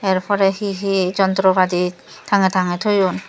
er poreh hehe jontropati tangey tangey toyun.